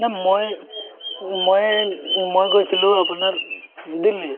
মানে মই ময়ে মই গৈছিলো আপোনাৰ উম দিল্লী